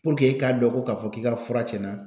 Puruk'e k'a dɔn ko k'a fɔ k'i ka fura cɛnna